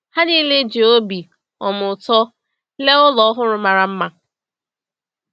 Ha niile ji obi um ụtọ lee ụlọ ọhụrụ mara mma.